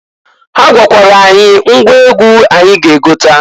Ha gwakwara anyị ngwa egwu anyị ga egota.